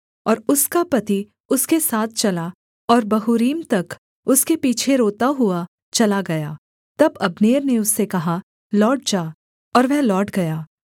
और उसका पति उसके साथ चला और बहूरीम तक उसके पीछे रोता हुआ चला गया तब अब्नेर ने उससे कहा लौट जा और वह लौट गया